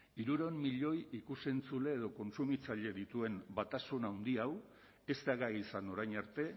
hirurehun milioi ikus entzule edo kontsumitzaile dituen batasun handi hau ez da gai izan orain arte